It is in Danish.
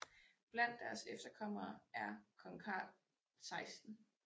Blandt deres efterkommere er kong Carl 16